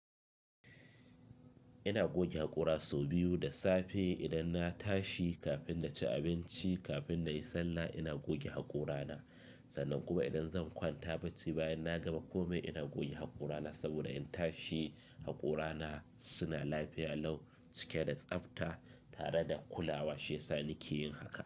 Ina goge haƙora sau biyu da safe idan na tashi, kafin na ci abinci, kafin na yi sallah ina goge haƙorana. Sannan kuma idan zan kwanta bacci bayan na gama komai ina goge haƙorana saboda in tashi haƙorana suna lafiya Lau cike da tsabta tare da kulawa. Shi yasa ni ke yin haka.